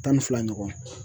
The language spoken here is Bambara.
Tan ni fila ɲɔgɔn